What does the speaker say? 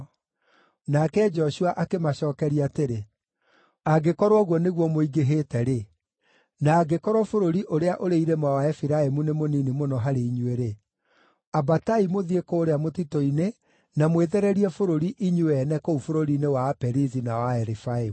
Nake Joshua akĩmacookeria atĩrĩ, “Angĩkorwo ũguo nĩguo mũingĩhĩte-rĩ, na angĩkorwo bũrũri ũrĩa ũrĩ irĩma wa Efiraimu nĩ mũnini mũno harĩ inyuĩ-rĩ, ambatai mũthiĩ kũũrĩa mũtitũ-inĩ na mwĩthererie bũrũri inyuĩ ene kũu bũrũri-inĩ wa Aperizi na wa Arefaimu.”